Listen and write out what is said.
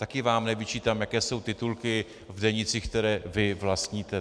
Taky vám nevyčítám, jaké jsou titulky v denících, které vy vlastníte.